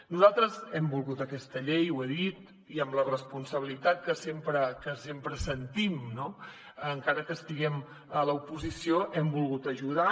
nosaltres hem volgut aquesta llei ho he dit i amb la responsabilitat que sempre sentim encara que estiguem a l’oposició hem volgut ajudar